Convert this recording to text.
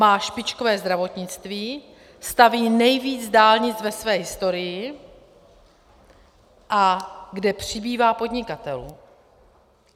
Má špičkové zdravotnictví, staví nejvíc dálnic ve své historii, a kde přibývá podnikatelů.